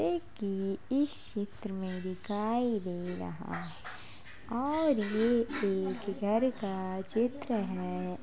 एकी इस चित्र में दिखाई दे रहा है और ये एक घर का चित्र है।